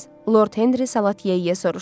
Lord Henri salat yeyə-yeyə soruşdu.